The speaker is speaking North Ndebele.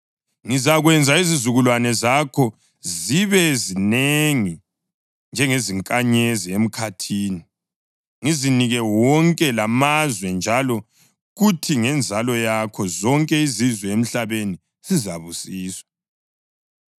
Ngizakwenza izizukulwane zakho zibe zinengi njengezinkanyezi emkhathini, ngizinike wonke lamazwe, njalo kuthi ngenzalo yakho zonke izizwe emhlabeni zizabusiswa,